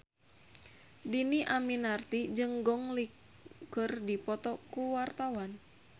Dhini Aminarti jeung Gong Li keur dipoto ku wartawan